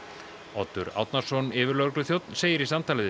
Oddur Árnason yfirlögregluþjónn segir í samtali við